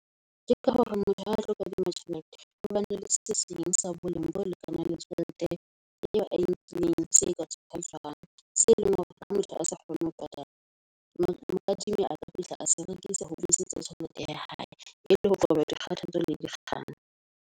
Ke ka hore motho ha a tlo kadima tjhelete hobane le se seng sa boleng bo lekanang le tjhelete eo ae nkileng se ka tsgwariswang. Se leng hore ha motho a sa kgone ho patala a ka fihla a se rekisa ho tjhelete ya hae e le ho qoba di kgathatso le di kgokahano.